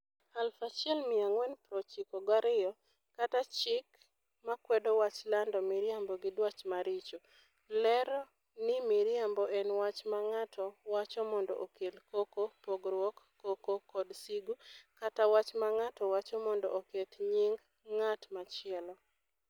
1492 kata "Chik Makwedo Wach Lando Miriambo gi Dwach Maricho", lero ni miriambo en "wach ma ng'ato wacho mondo okel koko, pogruok, koko, kod sigu, kata wach ma ng'ato wacho mondo oketh nying' ng'at machielo".